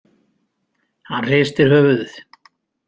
Hann hristir höfuðið.